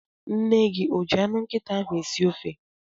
Nne gị o ji anụ nkịta ahụ esi ofe?